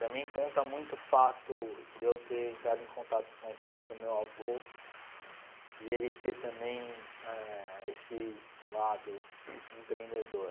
Também conta muito o fato de eu ter entrado em contato com a história do meu avô e ele ter também eh esse lado empreendedor.